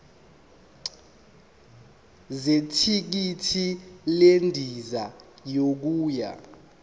zethikithi lendiza yokuya